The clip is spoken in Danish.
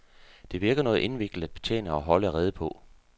Det virker noget indviklet at betjene og holde rede på.